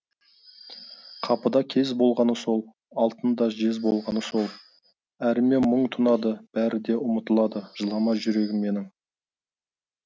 қапыда кез болғаны сол алтын да жез болғаны сол әріме мұң тұнады бәрі де ұмытылады жылама жүрегім менің